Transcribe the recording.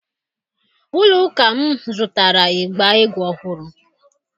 Ụlọ ụka m zụtara ịgba egwu ọhụrụ.